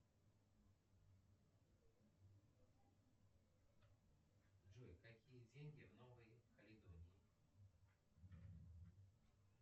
джой какие деньги в новой каледонии